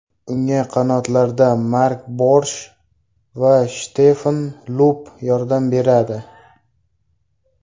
Unga qanotlarda Mark Borsh va Shtefan Lupp yordam beradi.